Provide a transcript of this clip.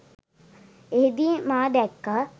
එහිදී මා දැක්‌කා